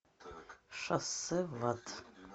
шоссе в ад